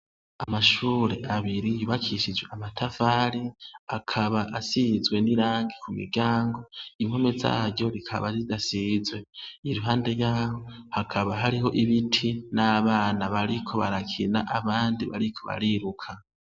Amashur' abiri yubakishijw' amatafar' akab' asizwe n' irangi kumiryango , impombe zaryo zika zidasizwe, iruhande yaho hakaba harih' ibiti n' abana bariko barakina, abandi bariko bariruka.